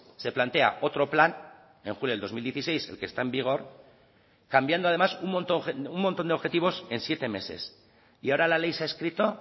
se plantea otro plan en julio del dos mil dieciséis el que está en vigor cambiando además un montón de objetivos en siete meses y ahora la ley se ha escrito